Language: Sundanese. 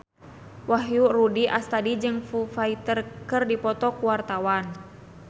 Wahyu Rudi Astadi jeung Foo Fighter keur dipoto ku wartawan